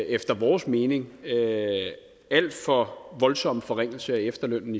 efter vores mening alt for voldsomme forringelse af efterlønnen